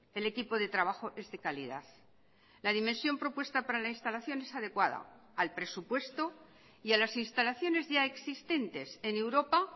el equipo de trabajo es de calidad la dimensión propuesta para la instalación es adecuada al presupuesto y a las instalaciones ya existentes en europa